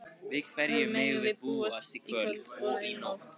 Við hverju megum við búast í kvöld og í nótt?